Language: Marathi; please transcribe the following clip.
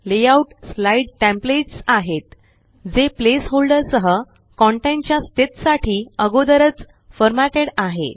लेआउट स्लाइड्स टेमप्लेट्स आहेत जे प्लेस होल्डर सह कन्टेंट च्या स्थित साठी अगोदरच फॉरमॅटेड आहे